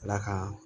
Ala ka